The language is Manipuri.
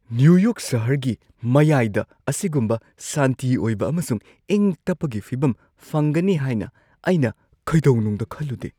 ꯅ꯭ꯌꯨ ꯌꯣꯔꯛ ꯁꯍꯔꯒꯤ ꯃꯌꯥꯏꯗ ꯑꯁꯤꯒꯨꯝꯕ ꯁꯥꯟꯇꯤ ꯑꯣꯏꯕ ꯑꯃꯁꯨꯡ ꯏꯪ ꯇꯞꯄꯒꯤ ꯐꯤꯕꯝ ꯐꯪꯒꯅꯤ ꯍꯥꯏꯅ ꯑꯩꯅ ꯀꯩꯗꯧꯅꯨꯡꯗ ꯈꯜꯂꯨꯗꯦ!